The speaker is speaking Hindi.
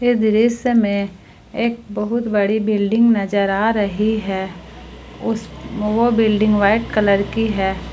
दृश्य में एक बहुत बड़ी बिल्डिंग नजर आ रही है उस वो बिल्डिंग व्हाइट कलर की है।